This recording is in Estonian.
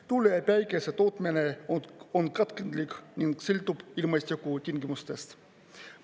Tuule‑ ja päikese tootmine on katkendlik ning sõltub ilmastikutingimustest.